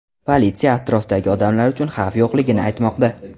Politsiya atrofdagi odamlar uchun xavf yo‘qligini aytmoqda.